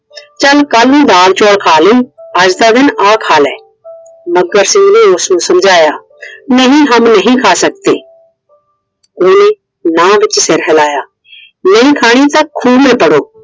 ਚੱਲ ਕੱਲ ਨੂੰ ਦਾਲ ਚੋਲ ਖਾ ਲਈ। ਅੱਜ ਦਾ ਦਿਨ ਆ ਖਾ ਲੈ। ਮੱਘਰ ਸਿੰਘ ਨੇ ਉਸਨੂੰ ਸਮਝਾਇਆ। नहीं हम नहीं खा सकते । ਉਹਨੇ ਨਾ ਵਿੱਚ ਸਿਰ ਹਿਲਾਇਆ। नहीं खानी तो खूह में पड़ो ।